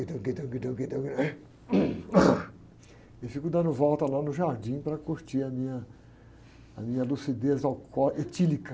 E fico dando volta lá no jardim para curtir a minha, a minha lucidez alcó, etílica.